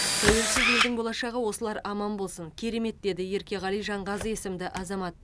тәуелсіз елдің болашағы осылар аман болсын керемет деді еркеғали жанғазы есімді азамат